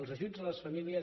els ajuts a les famílies